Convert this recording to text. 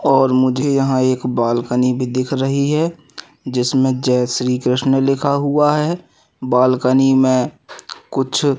और मुझे यहां एक बाल्कनी भी दिख रही है जिसमें जय श्री कृष्ण लिखा हुआ है। बाल्कनी में कुछ --